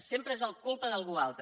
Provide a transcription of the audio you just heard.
sempre és culpa d’algú altre